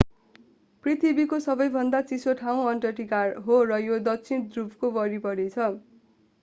पृथ्वीको सबैभन्दा चिसो ठाउँ अन्टार्टिका हो र यो दक्षिण ध्रुवको वरिपरि छ